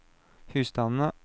husstandene